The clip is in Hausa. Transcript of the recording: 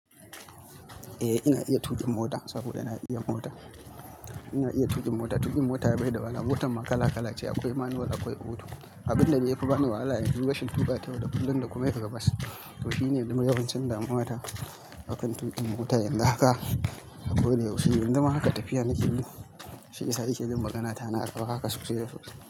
Eh ina iya tuƙin mota saboda na iya mota. Ina iya tuƙin mota, tuƙin mota bai da wahala. Motan ma kala kala ce, akwai manual akwai auto. Abinda ya fi bani wahala shine rashin tuƙa ta yau da kullum da kuma yin ribas. To shine kuma yawancin damuwa akan tuƙin mota, yanzu haka a koda yaushe. Yanzu ma haka tafiya nake yi, shi yasa yake jin magana ta na dau haka sosai da sosai.